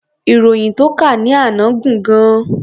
Ìròyìn tó kà ní àná gùn gan-an.